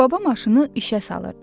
Baba maşını işə salırdı.